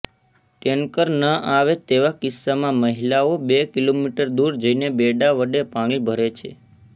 tanker ન આવે તેવા કિસ્સામાં મહિલાઓ બે કિલોમીટર દૂર જઈને બેડા વડે પાણી ભરે છે